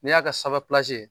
N'i y'a ka sanfɛ plansi ye.